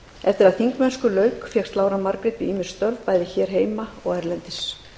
eftir að þingmennsku lauk fékkst lára margrét við ýmis störf bæði hér heima og erlendis